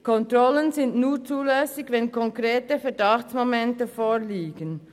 Kontrollen sind nur zulässig, wenn konkrete Verdachtsmomente vorliegen.